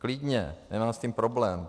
Klidně, nemám s tím problém.